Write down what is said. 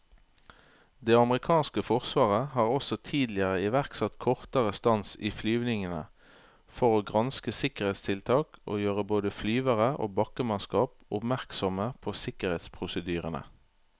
Det amerikanske forsvaret har også tidligere iverksatt kortere stans i flyvningene for å granske sikkerhetstiltak og gjøre både flyvere og bakkemannskap oppmerksomme på sikkerhetsprosedyrene.